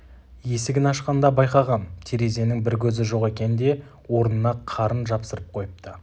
есігін ашқанда байқағам терезенің бір көзі жоқ екен де орнына қарын жапсырып қойыпты